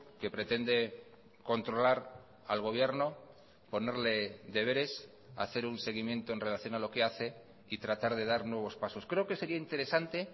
que pretende controlar al gobierno ponerle deberes hacer un seguimiento en relación a lo que hace y tratar de dar nuevos pasos creo que sería interesante